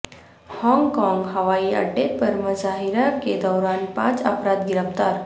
Hong Kong ہوائی اڈے پر مظاہرہ کے دوران پانچ افراد گرفتار